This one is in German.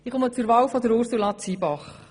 Ich komme zur Wahl von Ursula Zybach.